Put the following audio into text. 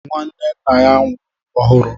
Nwanne nna ya nwụrụ ọhụru